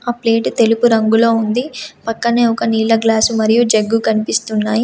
ఆ ప్లేటు తెలుగు రంగులో ఉంది. పక్కనే ఒక నీళ్ల గ్లాసు మరియు జగ్గు కనిపిస్తున్నాయి.